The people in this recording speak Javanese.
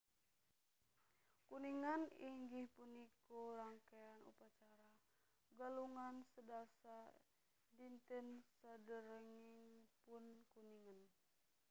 Kuningan inggih punika rangkean upacara Galungan sedasa dinten saderengipun Kuningan